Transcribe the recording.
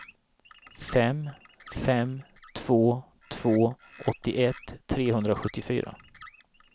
fem fem två två åttioett trehundrasjuttiofyra